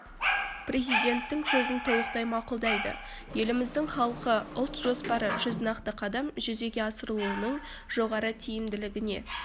президентінің сөзін толықтай мақұлдайды еліміздің халқы ұлт жоспары жүз нақты қадам жүзеге асырылуының жоғары тиімділігіне